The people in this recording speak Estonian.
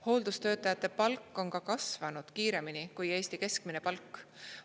Hooldustöötajate palk on ka kasvanud kiiremini kui Eesti keskmine palk.